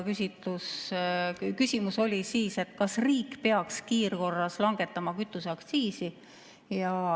Küsimus oli, kas riik peaks kiirkorras langetama kütuseaktsiisi.